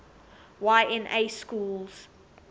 y na schools